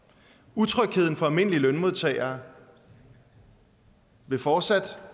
utrygheden for almindelige lønmodtagere vil fortsætte